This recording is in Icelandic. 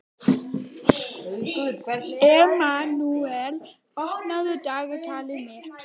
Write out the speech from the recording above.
Emanúel, opnaðu dagatalið mitt.